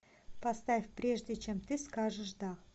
поставь прежде чем ты скажешь да